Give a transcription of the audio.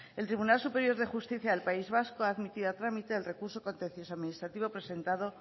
el tribunal superior de justicia del país vasco ha admitido a trámite el recurso contencioso administrativo presentado